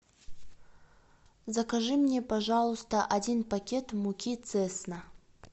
закажи мне пожалуйста один пакет муки цесна